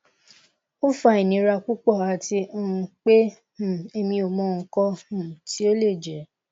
o fa inira pupo ati um pe um emi o mo ikan um ti o le je